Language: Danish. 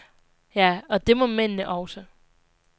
Ja, og det må mændene også.